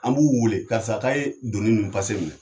An b'u wele karisa k'a ye doni nu pase minɛ